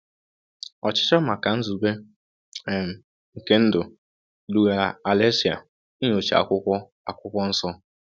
um Ọchịchọ maka nzube um nke ndụ dugara Alexei inyocha akwụkwọ akwụkwọ nsọ.